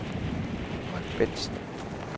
Marc Bentsen